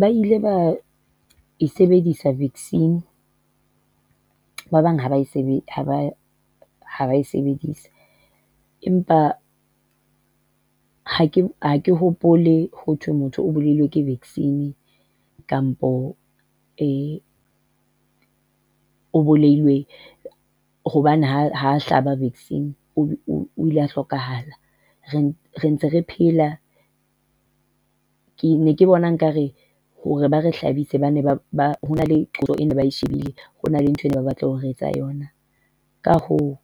Ba ile ba e sebedisa vaccine. Ba bang ha ba e sebedisa, empa ha ke ha ke hopole ho thwe motho o bolailwe ke vaccine kampo e o bolailwe hobane ha ha hlaba vaccine o ile a hlokahala. Re re ntse re phela. Ke ne ke bona nkare hore ba re hlabise ba ne ba le qeto ba e shebile, ho na le ntho e ne ba e batla ho re etsa yona. Ka hoo,